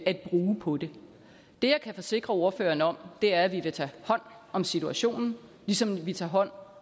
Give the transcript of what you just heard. at bruge på det det jeg kan forsikre ordføreren om er at vi vil tage hånd om situationen ligesom vi tager hånd